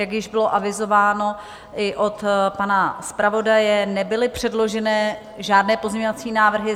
Jak již bylo avizováno i od pana zpravodaje, nebyly předloženy žádné pozměňovací návrhy.